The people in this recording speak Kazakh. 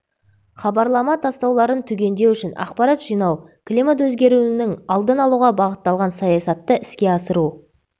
хабарлама тастауларын түгендеу үшін ақпарат жинау климат өзгеруінің алдын алуға бағытталған саясатты іске асыру